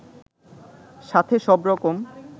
সাথে সব রকম